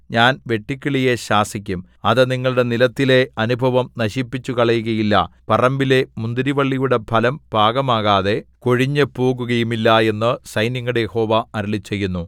ഞാൻ വെട്ടുക്കിളിയെ ശാസിക്കും അത് നിങ്ങളുടെ നിലത്തിലെ അനുഭവം നശിപ്പിച്ചുകളയുകയില്ല പറമ്പിലെ മുന്തിരിവള്ളിയുടെ ഫലം പാകമാകാതെ കൊഴിഞ്ഞുപോകയുമില്ല എന്നു സൈന്യങ്ങളുടെ യഹോവ അരുളിച്ചെയ്യുന്നു